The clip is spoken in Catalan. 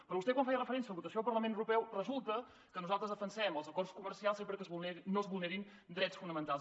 però vostè quan feia referència a la votació al parlament europeu resulta que nosaltres defensem els acords comercials sempre que no es vulnerin drets fonamentals